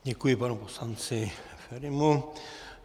Děkuji panu poslanci Ferimu.